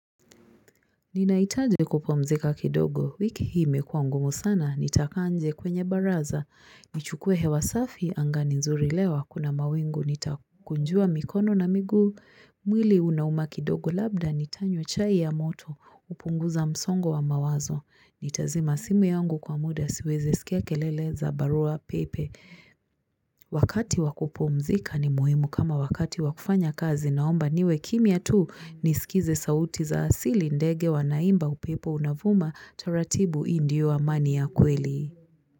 Ninahitaji kupumzika kidogo, wiki hii imekua ngumu sana, nitakaa nje kwenye baraza nichukue hewa safi, anga ni nzuri leo hakuna mawingu. Nitakunjua mikono na miguu, mwili unauma kidogo, labda nitanywa chai ya moto, kupunguza msongo wa mawazo, nitazima simu yangu kwa muda, siwezi sikia kelele za barua pepe Wakati wa kupumzika, ni muhimu kama wakati wakufanya kazi, naomba niwe kimya tu, nisikize sauti za asili, ndege wanaimba, upepo unavuma taratibu, hii ndio amani ya kweli.